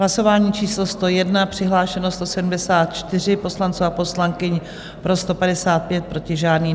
Hlasování číslo 101, přihlášeno 174 poslanců a poslankyň, pro 155, proti žádný.